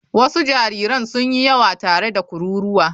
Wasu jariran sun yi yawa tare da kururuwa.